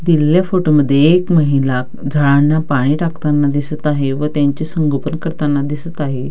दिलेल्या फोटो मध्ये एक महिला झाडांना पाणी टाकताना दिसत आहे व त्यांचे संगोपन करताना दिसत आहे.